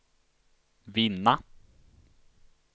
vinna